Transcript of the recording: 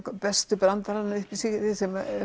bestu brandarana